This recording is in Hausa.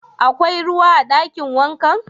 Akwai ruwa a dakin wankan?